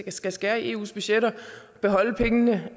skal skære i eus budgetter beholde pengene